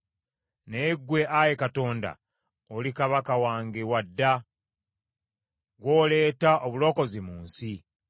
Naye ggwe, Ayi Katonda, oli Kabaka wange wa dda; gw’oleeta obulokozi mu nsi.